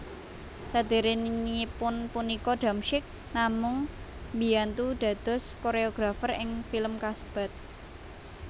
Saderengipun punika Damsyik namung mbiyantu dados koreografer ing film kasebat